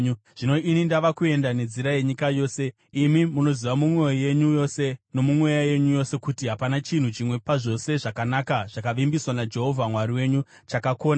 “Zvino ini ndava kuenda nenzira yenyika yose. Imi munoziva mumwoyo yenyu yose nomumweya yenyu yose, kuti hapana chinhu chimwe pazvose zvakanaka zvakavimbiswa naJehovha Mwari wenyu chakakona.